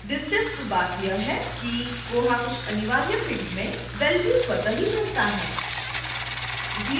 दिलचस्प बात यह है कि koha कुछ अनिवार्य फिल्ड्स में वैल्यू स्वत: ही भरता है